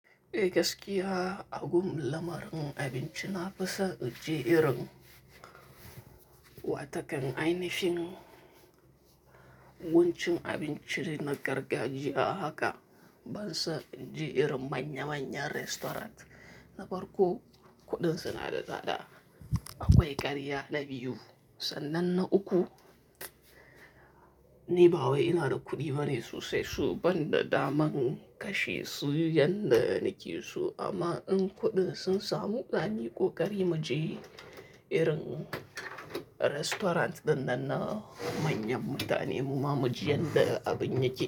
Eh gaskiya, a gum lamarin abinci na fi son inje irin wata kan ainishing wancan abincin na gargajiya haka ban son inje irin manya manyan restaurant. Na farko kuɗin suna da tsada, akwai ƙarya na biyu sannan na uku, ni ba wai ina da kuɗi bane so sai su banda daman kashe su yanda nake so. Amma in kuɗin sun samu, zamuyi ƙo ƙari mu je irin restaurant ɗinnan na manyan mutane mu ma mu ji yanda abin yake.